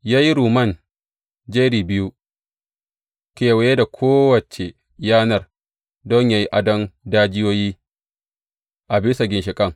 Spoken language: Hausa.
Ya yi rumman jeri biyu kewaye da kowace yanar don yă yi adon dajiyoyin a bisa ginshiƙan.